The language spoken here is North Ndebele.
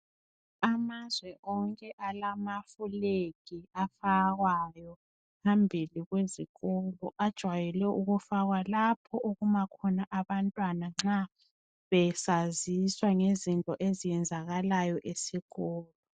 Amazwe onke alamafulegi afakwayo phambili kwezikolo. Ajwayelwe ukufakwa lapho okuma khona abantwana nxa besaziswa ngezinto ezenzekalayo esikolo.